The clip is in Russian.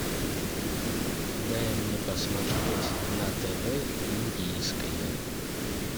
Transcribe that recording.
дай мне посмотреть на тв индийское